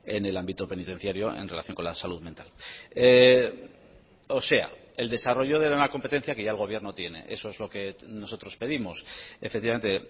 en el ámbito penitenciario en relación con la salud mental o sea el desarrollo de una competencia que ya el gobierno tiene eso es lo que nosotros pedimos efectivamente